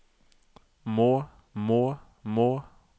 må må må